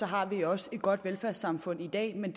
har vi også et godt velfærdssamfund i dag men